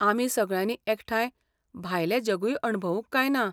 आमी सगळ्यांनी एकठांय भायलें जगूय अणभवूंक काय ना?